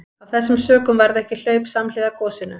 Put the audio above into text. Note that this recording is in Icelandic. Af þessum sökum varð ekki hlaup samhliða gosinu.